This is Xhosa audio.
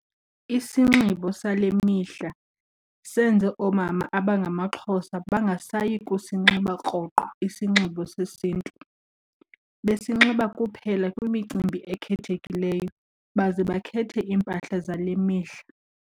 Isinxibo sale mihla senze oomama abangamaXhosa bangasayi kusinxiba rhoqo isinxibo sesiNtu, besinxiba kuphela kwimicimbi ekhethekileyo baze bakhethe iimpahla zale mihla.